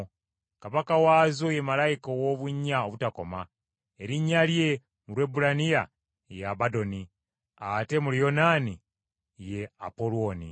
Kabaka waazo ye malayika ow’obunnya obutakoma, erinnya lye mu Lwebbulaniya ye Abadoni ate mu Luyonaani ye Apolwoni.